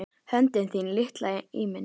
Höndin þín litla í minni.